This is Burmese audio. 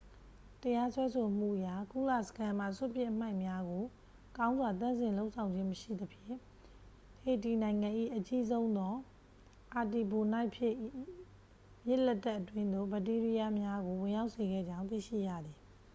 တရားစွဲဆိုမှုအရ ကုလစခန်းမှ စွန့်ပစ်အမှိုက်များကို ကောင်းစွာသန့်စင်လုပ်ဆောင်ခြင်းမရှိသဖြင့် ဟေတီနိုင်ငံ၏ အကြီးဆုံးသော အာတီဘိုနိုက်ဖြစ်၏ မြစ်လက်တက်အတွင်းသို့ ဘက်တီးရီးယားများကို ဝင်ရောက်စေခဲ့ကြောင်း သိရှိရသည်